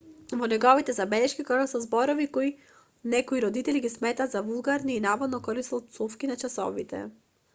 во неговите забелешки користел зборови кои некои родители ги сметале за вулгарни и наводно користел пцовки на часовите